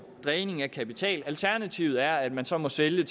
dræning af kapital alternativet er at man så må sælge